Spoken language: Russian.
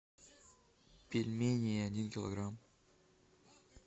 пельмени один килограмм